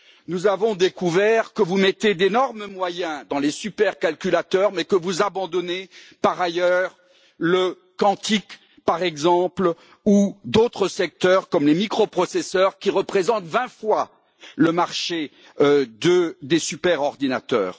Nous avons découvert que vous mettez d'énormes moyens dans les supercalculateurs, mais que vous abandonnez par ailleurs le quantique, par exemple, ou d'autres secteurs comme les microprocesseurs, qui représentent 20 fois le marché des superordinateurs.